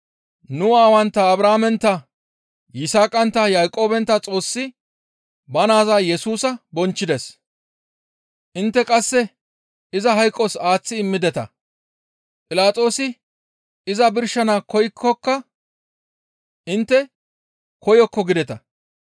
Nu aawantta Abrahaamentta, Yisaaqantta, Yaaqoobentta Xoossi ba naaza Yesusa bonchchides. Intte qasse iza hayqos aaththi immideta; Philaxoosi iza birshana koyiinkka intte, ‹Koyokko› gideta.